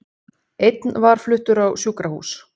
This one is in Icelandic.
Einn var fluttur á sjúkrahús